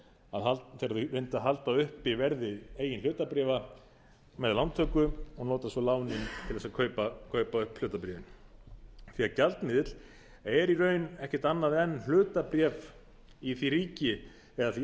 reyndu að halda uppi verði eigin hlutabréf með lántöku og nota svo lánin til að kaupa upp hlutabréfin því að gjaldmiðill er í raun ekkert annað en hlutabréf í því ríki eða því